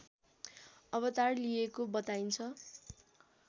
अवतार लिएको बताइन्छ।